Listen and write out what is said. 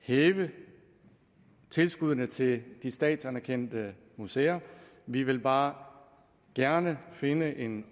hæve tilskuddene til de statsanerkendte museer vi vil bare gerne finde en